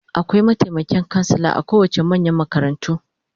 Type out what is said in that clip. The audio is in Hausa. Akwai mataimakin kansila a kowace manyan makarantu